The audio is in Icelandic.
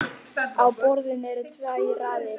Á borðinu eru tvær raðir.